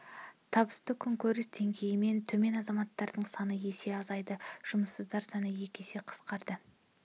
табысы күнкөріс деңгейінен төмен азаматтардың саны есе азайды жұмыссыздар саны екі есе қысқарды